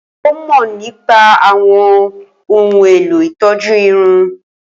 Ó mọ̀ nípa àwọn ohun èlò ìtọ́jú irun.